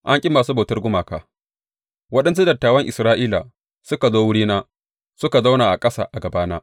An ƙi masu bautar gumaka Waɗansu dattawan Isra’ila suka zo wurina suka zauna a ƙasa a gabana.